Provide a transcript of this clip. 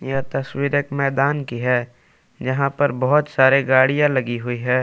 यह तस्वीर एक मैदान की है यहां पर बहुत सारे गाड़ियां लगी हुई है।